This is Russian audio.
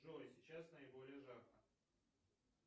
джой сейчас наиболее жарко